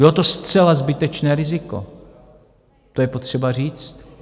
Bylo to zcela zbytečné riziko, to je potřeba říct.